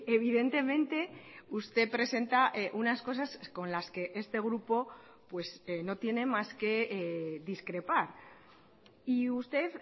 evidentemente usted presenta unas cosas con las que este grupo no tiene más que discrepar y usted